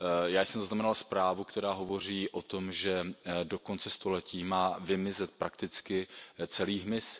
Já jsem zaznamenal zprávu, která hovoří o tom, že do konce století má vymizet prakticky celý hmyz.